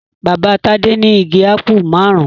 Bàbá Tádé ní igi ápù márùn-ún.